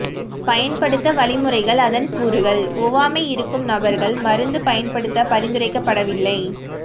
பயன்படுத்த வழிமுறைகள் அதன் கூறுகள் ஒவ்வாமை இருக்கும் நபர்கள் மருந்து பயன்படுத்த பரிந்துரைக்கப்படவில்லை